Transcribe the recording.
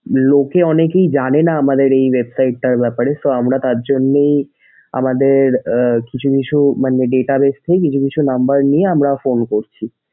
লোকে অনেকে জানেনা আমাদের এই website টার ব্যাপারে so আমরা তার জন্যেই আমাদের আহ কিছু কিছু মানে database থেকে কিছু কিছু number নিয়ে আমরা phone করছি।